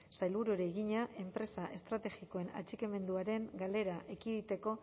sailburuari egina enpresa estrategikoen atxikimenduaren galera ekiditeko